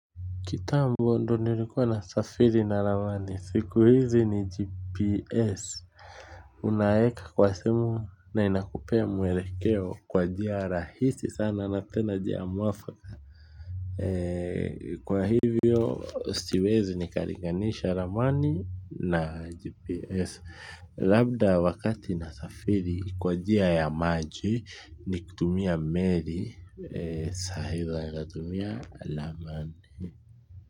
Kitambo ndo nilikuwa nasafiri na ramani siku hizi ni gps. Unaeka kwa simu na inakupea mwelekeo kwa njia rahisi sana na tena jia mwafaka. Kwa hivyo, siwezi nikaringanisha ramani na gps. Labda wakati nasafiri kwa jia ya maji. Nikutumia meri sa hivyo anatumia ramani.